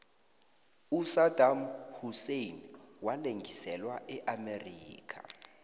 usadam husein walengiselwa eamerica